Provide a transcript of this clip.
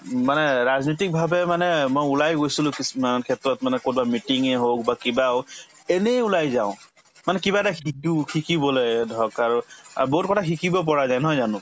উম মানে ৰাজনৈতিক ভাবে মানে মই ওলাই গৈছিলো কিছুমান ক্ষেত্ৰত মানে কৰবাত meeting য়ে হওক বা কিবা হওক এনেই ওলাই যাওঁ মানে কিবা এটা শিকো‍ শিকিবলে ধৰক আৰু অ বহুত কথা শিকিব পৰা যায় নহয় জানো